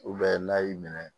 n'a y'i minɛ